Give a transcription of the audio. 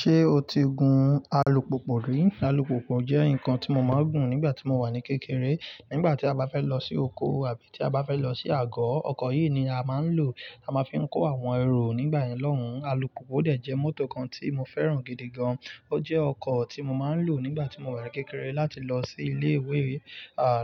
Ṣé o ti gun alùpùpù rí? Alùpùpù jẹ́ ǹkan tí mo máa ń gun nígbà tí mo wà ní kékeré. Nígbà tí a bá fẹ́ lọ sí oko àbí tí a bá fẹ́ lọ sí àgọ́, ọkọ̀ yìí ni a máa ń lò, a máa ń fi kó àwọn ẹrù nígbà yẹ̀n ọ́hùn. Alùpùpù dẹ fjẹ́ mọ́tò kan tí mo fẹ́ràn gidi gan. Ó jẹ́ ọkọ̀ tí mo mà ń lò nígbàtí mo wà ní kékeré láti lọ sí ilé ìwé,